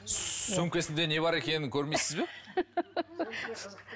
сөмкесінде не бар екенін көрмейсіз бе